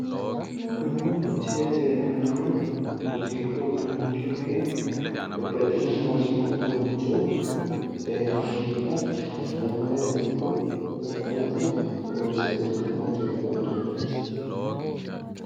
Kunu misilete leellannohu muuziqu udunnicho ikke babbaxxino muuziiqu uduunnicho muuziiqa zammarate ikko zaffanate horonsi'nanni muuziiqu uduunneeti.